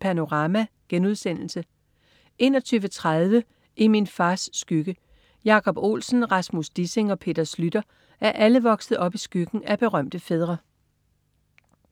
Panorama* 21.30 I min fars skygge. Jacob Olsen, Rasmus Dissing og Peter Schlüter er alle vokset op i skyggen af berømte fædre